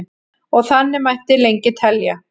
og þannig mætti lengi telja